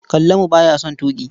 Kallamu ba ya son tuƙi.